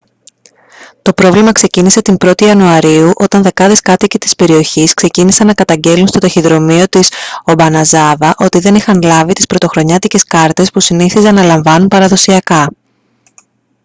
το πρόβλημα ξεκίνησε την 1η ιανουαρίου όταν δεκάδες κάτοικοι της περιοχής ξεκίνησαν να καταγγέλλουν στο ταχυδρομείο της ομπαναζάβα ότι δεν είχαν λάβει τις πρωτοχρονιάτικες κάρτες που συνήθιζαν να λαμβάνουν παραδοσιακά